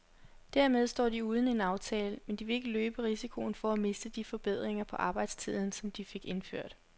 Dermed står de uden en aftale, men de vil ikke løbe risikoen for at miste de forbedringer på arbejdstiden, som de fik indført.